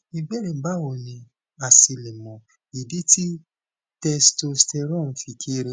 ìbéèrè bawo ni a se le mọ idi ti testosterone fi kere